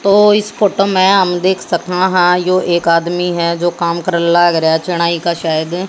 तो इस फोटो में हम देख सका हैं यो एक आदमी है जो काम करे लाग रहें का शायद--